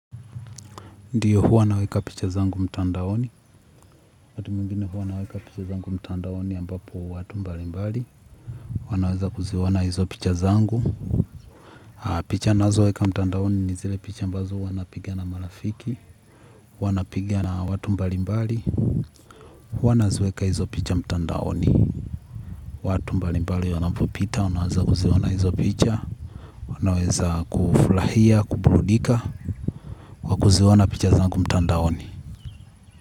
Ndiyo huwa naweka picha zangu mtandaoni. Wakati mwingine huwa naweka picha zangu mtandaoni ambapo watu mbalimbali wanaweza kuziona hizo picha zangu. Picha ninazoweka mtandaoni ni zile picha ambazo huwa napigia na marafiki. Wanapigia na watu mbalimbali. Huwa naziweka hizo picha mtandaoni. Watu mbalimbali wanapopita, wanaweza kuziona hizo picha wanaweza kufurahia, kuburudika kwa kuziona picha zangu mtandaoni.